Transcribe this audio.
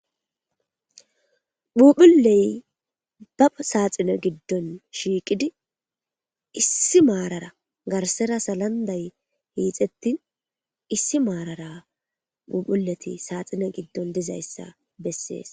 Phuphulle ba saxinne gidon shiqidd issi marara garsara salanday hixethin issi marra phuphullethi saxinne gidon dizayssa besess.